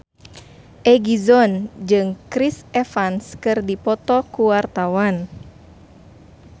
Egi John jeung Chris Evans keur dipoto ku wartawan